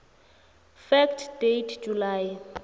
fact date july